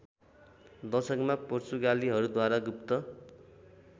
दशकमा पोर्चुगालीहरूद्वारा गुप्त